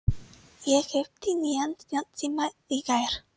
Ég keypti nýjan snjallsíma í gær.